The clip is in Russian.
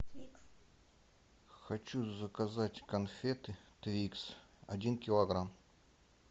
хочу заказать конфеты твикс один килограмм